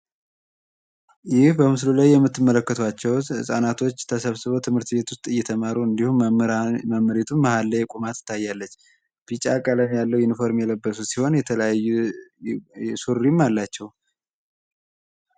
ላይ የምትመለከቱት ህጻናቶች ተሰብስቦ ትምህርት ቤት ውስጥ እየተማሩ እንዲሁም መምህራን ላይ ቁማ ትታያለች ቢጫ ቀለም ያለው ኢንፎርሜሽን ሲሆን የተለያዩ አላቸው